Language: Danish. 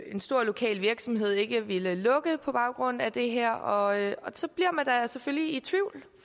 en stor lokal virksomhed ikke ville lukke på baggrund af det her og så bliver man da selvfølgelig i tvivl